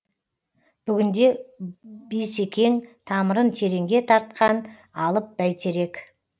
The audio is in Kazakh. бүгінде бейсекең тамырын тереңге тартқан алып бәйтерек